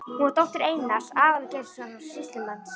Hún var dóttir Einars Aðalgeirssonar sýslumanns.